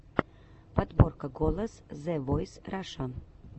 подборка голос зэ войс раша